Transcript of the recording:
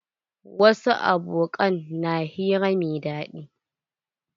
Wasu aboƙan na hira mai daɗi.